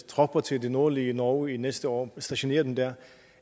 tropper til det nordlige norge næste år og stationere dem der